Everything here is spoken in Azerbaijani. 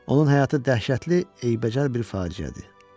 Onun həyatı dəhşətli, eybəcər bir faciədir.